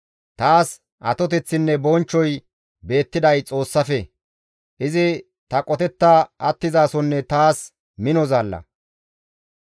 Taas atoteththinne bonchchoy beettiday Xoossafe; izi ta qotetta attizasonne taas mino zaalla.